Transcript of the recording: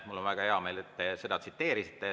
Mul on väga hea meel, et te seda tsiteerisite.